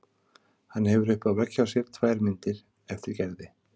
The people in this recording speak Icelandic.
Hann hefur uppi á vegg hjá sér tvær myndir eftir Gerði.